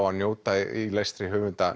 að njóta í lestri höfundar